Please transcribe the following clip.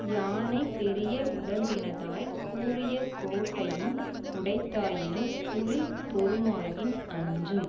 யானை பெரிய உடம்பினதாய்க் கூரியகோட்டையும் உடைத்தாயினும் புலி பொருமாயின் அஞ்சும்